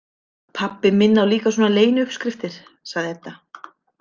Pabbi minn á líka svona leyniuppskriftir, sagði Edda.